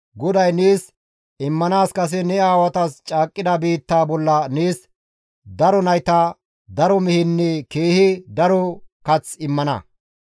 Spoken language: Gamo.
GODAY nees immanaas kase ne aawatas caaqqida biittaa bolla nees daro nayta, daro mehenne keehi daro kath immana.